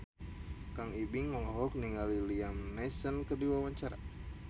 Kang Ibing olohok ningali Liam Neeson keur diwawancara